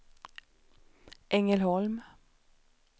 Ängelholm